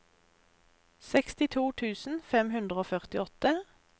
sekstito tusen fem hundre og førtiåtte